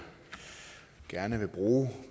gerne vil bruge